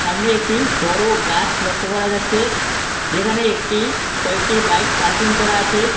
সামনে একটি বড়ো গাছ লক্ষ্য করা যাচ্ছে যেখানে একটি কয়েকটি বাইক পার্কিং করা আছে।